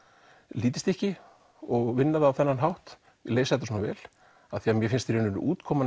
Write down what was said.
lítið stykki og vinna það á þennan hátt leysa þetta svona vel af því mér finnst útkoman